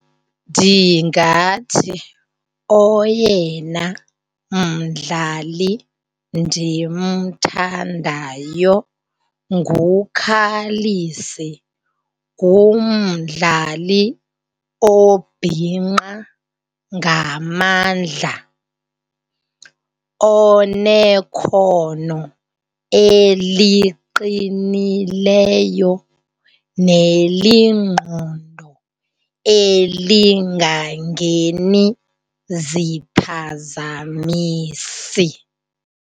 Ndingathi oyena mdlali ndimthandayo nguKallis. Ngumdlali obhinqa ngamandla onekhono eliqinileyo nelingqondo elingangeni ziphazamisi.